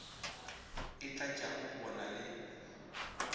e tlatšago go na le